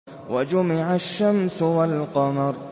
وَجُمِعَ الشَّمْسُ وَالْقَمَرُ